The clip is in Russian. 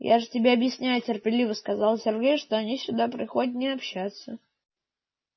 я же тебе объясняю терпеливо сказал сергей что они сюда приходят не общаться